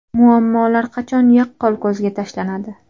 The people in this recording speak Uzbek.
Muammolar qachon yaqqol ko‘zga tashlanadi?